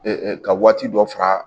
ka waati dɔ fara